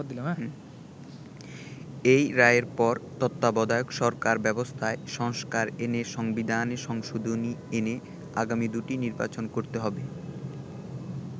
এই রায়ের পর তত্ত্বাবধায়ক সরকার ব্যবস্থায় সংস্কার এনে সংবিধানে সংশোধনী এনে আগামী দু’টি নির্বাচন করতে হবে।